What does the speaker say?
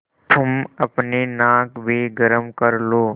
तुम अपनी नाक भी गरम कर लो